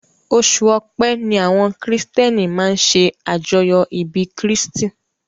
Oṣù ọpẹ́ ni àwọn kìrìtíẹ́nì máa ń ṣe àjọyọ̀ ìbí kírstì